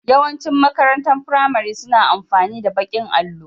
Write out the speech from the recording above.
Yawan cin makarantar firamare suna amfani da baƙin allo